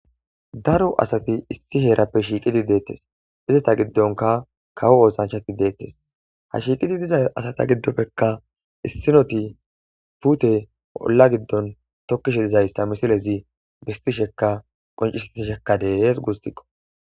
Daro asati issi heerappe shiiqidi deettes izata giddonka kawo oosanchati deettes ha shiiqidi diza asata giddoppekka issinoti pute olla giddon tokkishe dizayssa misilezi bistisheka qoncisti shekka deees guustikqo